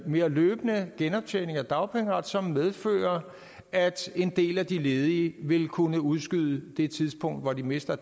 mere løbende genoptjening af dagpengeret som medfører at en del af de ledige vil kunne udskyde det tidspunkt hvor de mister